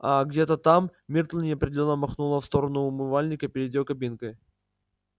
а где-то там миртл неопределённо махнула в сторону умывальника перед её кабинкой